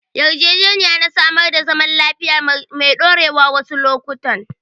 Yarjejeniya na samar da zaman lafiya mai ɗorewa wasu lokutan.